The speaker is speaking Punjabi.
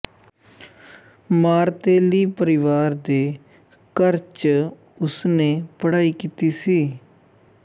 ਮਾਰਤੇਲੀ ਪਰਿਵਾਰ ਦੇ ਘਰ ਚ ਉਸਨੇ ਪੜ੍ਹਾਈ ਕੀਤੀ ਸੀ